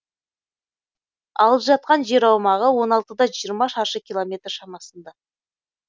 алып жатқан жер аумағы он алтыда жиырма шаршы километр шамасында